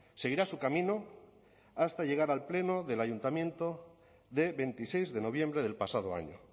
seguirá su camino hasta llegar al pleno del ayuntamiento de veintiséis de noviembre del pasado año